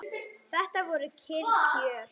Þetta voru kyrr kjör.